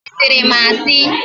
I sịrị m asị?